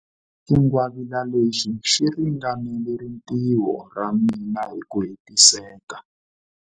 Xingwavila lexi xi ringanela rintiho ra mina hi ku hetiseka.